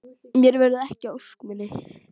Mér verður ekki að ósk minni.